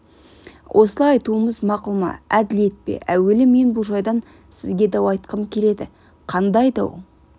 осылай айтуымыз мақұл ма әділет пе әуелі мен бұл жайдан сізге дау айтқым келеді қандай дау